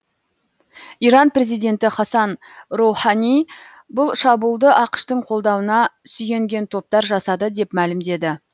иран президенті хасан роухани бұл шабуылды ақш тың қолдауына сүйенген топтар жасады деп мәлімдеді